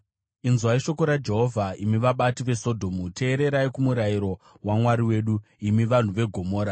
Inzwai shoko raJehovha, imi vabati veSodhomu; teererai kumurayiro waMwari wedu, imi vanhu veGomora!